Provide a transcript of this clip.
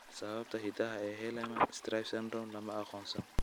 Sababta hidaha ee Hallerman Streiff syndrome lama aqoonsan.